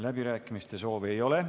Läbirääkimiste soovi ei ole.